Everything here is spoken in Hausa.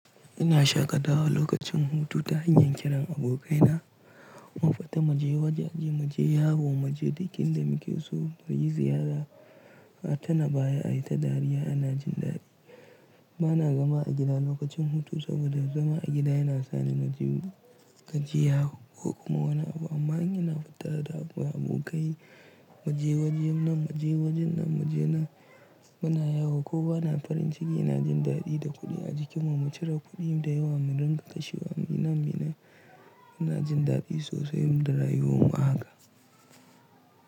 Ina shaƙatawa lokacin hutu ta hanyar kiran abokaina, mu fita mu je waje, mu je yawo, mu je dinkin da muke so, mu yi ziyara, a tuna baya a yi ta dariya ana jin daɗi. Bana zama a gida lokacin hutu saboda zama a gida yana sa ni na ji gajiya ko kuma wani abu. Amma in ina fita da abokai mu je waje nan, mu je waje nan, mu je nan muna yawo ko bana farin ciki ina jin daɗi da kuɗi a jikim mu cire kuɗin da yawa mu dinga kashewa muyi nan muyi nan munajin daɗi sosai da rayuwar mu a haka.